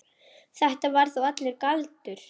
Þetta var þá allur galdur.